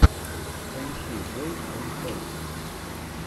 поищи бойз энд тойс